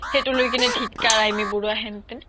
সেইটো লৈ কিনে ধিককাৰ আমী বাৰুৱা হেনতেন